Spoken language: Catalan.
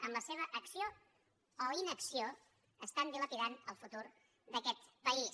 amb la seva acció o inacció estan dilapidant el futur d’aquest país